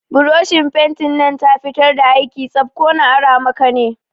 Buroshin fentin nan ta fitar da aiki tsaf, ko na ara maka ne?